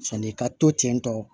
Sɔni ka to ten tɔ